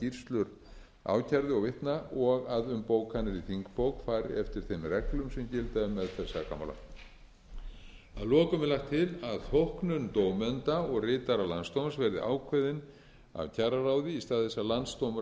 skýrslur ákærðu og vitna og að um bókanir í þingbók fari eftir þeim reglum sem gilda um meðferð sakamála að lokum er lagt til að þóknundómenda og ritara landsdóms verði ákveðin af kjararáði í stað þess að